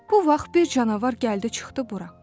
Bu vaxt bir canavar gəldi çıxdı bura.